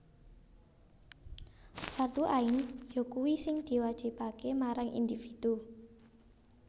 Fardhu Ain yakuwi sing diwajibaké marang individu